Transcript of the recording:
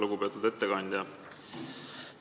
Lugupeetud ettekandja!